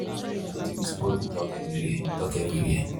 sti testing na watin we all suppose they talk everywhere talk everywhere